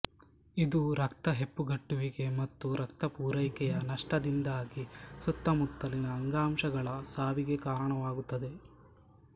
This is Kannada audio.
ಇದು ರಕ್ತ ಹೆಪ್ಪುಗಟ್ಟುವಿಕೆ ಮತ್ತು ರಕ್ತ ಪೂರೈಕೆಯ ನಷ್ಟದಿಂದಾಗಿ ಸುತ್ತಮುತ್ತಲಿನ ಅಂಗಾಂಶಗಳ ಸಾವಿಗೆ ಕಾರಣವಾಗುತ್ತದೆ